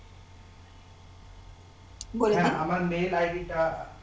হ্যাঁ আমার mail ID টা